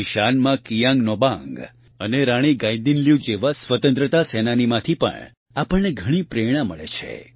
ઇશાનમાં કિયાંગ નોબાંગ અને રાણી ગાઇદિન્લ્યુ જેવા સ્વતંત્રતા સેનાનીમાંથી પણ આપણને ઘણી પ્રેરણા મળે છે